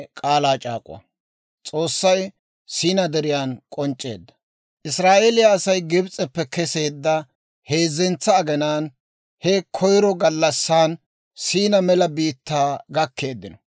Israa'eeliyaa Asay Gibs'eppe keseedda heezzentsa aginaan he koyro gallassan Siina mela biittaa gakkeeddino.